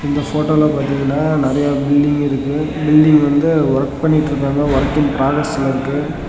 இந்த போட்டோல பாத்தீங்கனா நறைய பில்டிங் இருக்கு பில்டிங் வந்து ஒர்க் பண்ணிட்டுருக்காங்க வொர்கிங் ப்ராசஸ்ல இருக்கு.